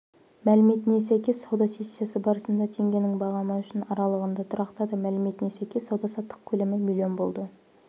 мәліметіне сәйкес сауда сессиясы барысында теңгенің бағамы үшін аралығында тұрақтады мәліметіне сәйкес сауда-саттық көлемі млн болды